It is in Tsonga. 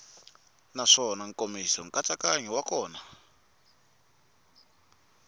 naswona nkomiso nkatsakanyo wa kona